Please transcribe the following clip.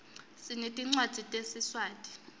sinetincwadzi tesiswati